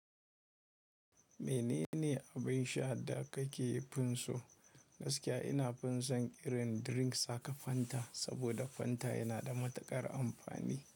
Mene ne abin sha da kake fin so? Gaskiya ina fin son irin drinks gaka Fanta, saboda Fanta yana da matuƙar amfani.